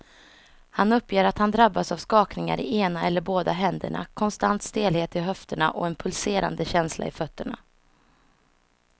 Han uppger att han drabbas av skakningar i ena eller båda händerna, konstant stelhet i höfterna och en pulserande känsla i fötterna.